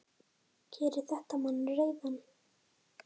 Gerir þetta mann reiðan?